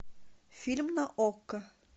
фильм на окко